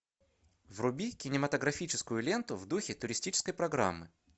вруби кинематографическую ленту в духе туристической программы